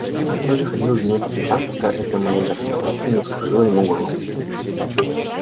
он же ходил за ней по пятам пока эта моя вертихвостка не вскружила ему голову